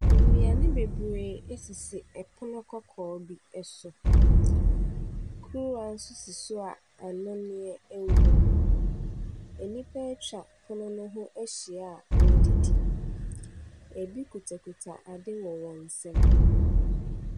Nnuane bebree esisi ɛpono kɔkɔɔ bi so. Kuruwa nso si so a nnɔneɛ ɛwom. Nnipa etwa pono no ho ahyia a wodidi. Ebi kuta kuta ade wɔ wɔn nsam.